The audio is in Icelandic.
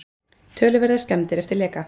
Töluverðar skemmdir eftir leka